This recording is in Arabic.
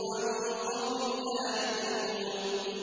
وَالنُّذُرُ عَن قَوْمٍ لَّا يُؤْمِنُونَ